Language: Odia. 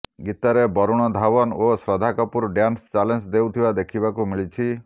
ଗୀତରେ ବରୁଣ ଧଓ୍ବନ ଓ ଶ୍ରଦ୍ଧା କପୁର ଡ୍ୟାନ୍ସ ଚ୍ୟାଲେଞ୍ଜ ଦେଉଥିବା ଦେଖିବାକୁ ମିଳିଛି